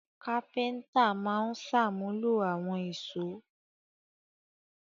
Kápẹ́ńtà máa ń ṣàmúlò àwọn ìṣó.